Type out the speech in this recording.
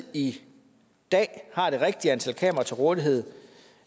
i dag har det rigtige antal kameraer til rådighed